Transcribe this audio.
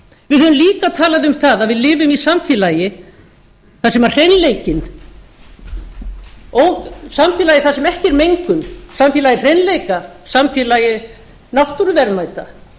við höfum líka talað um það að við lifum í samfélagi þar sem hreinleikinn samfélagi þar sem ekki er mengun samfélagi hreinleika samfélagi náttúruverðmæta